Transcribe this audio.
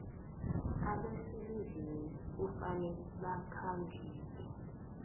abaselivini kufanele bakhonjiswe